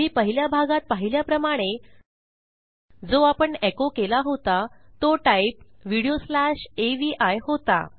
तुम्ही पहिल्या भागात पाहिल्याप्रमाणे जो आपण एको केला होता तो टाईप व्हिडिओ स्लॅश अवी होता